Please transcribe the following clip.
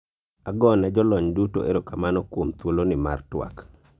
agone jolony duto erokamano kuom thuolo ni mar twak